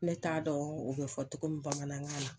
Ne t'a dɔn u bɛ fɔ cogo min bamanankan na.